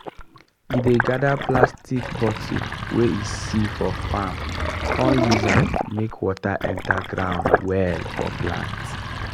e dey gather plastic bottle wey e see for farm come use am make water enter ground well for plant.